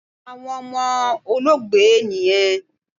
Awọn ọmọ Olóògbé niyẹn